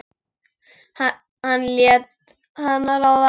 Hann lét hana ráða.